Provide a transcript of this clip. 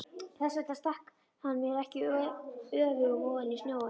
Þess vegna stakk hann mér ekki öfugum ofan í snjóinn.